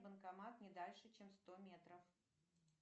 банкомат не дальше чем сто метров